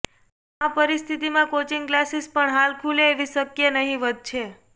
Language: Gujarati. આ પરિસ્થિતિમાં કોચિંગ ક્લાસિસ પણ હાલ ખુલે એવી શક્યા નહીવત છે